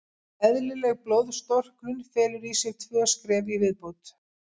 Eðlileg blóðstorknun felur í sér tvö skref í viðbót.